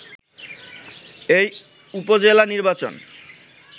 এই উপজেলা নির্বাচন